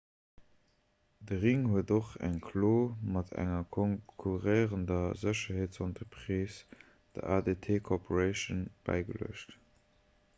de ring huet och eng klo mat enger konkurréierender sécherheetsentreprise der adt corporation bäigeluecht